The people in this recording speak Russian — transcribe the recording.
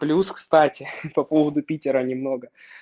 плюс кстати по поводу питера немного